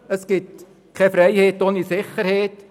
Es gibt keine Freiheit ohne Sicherheit;